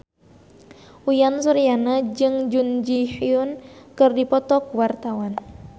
Uyan Suryana jeung Jun Ji Hyun keur dipoto ku wartawan